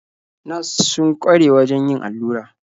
Nas sun kware wajen yin allura.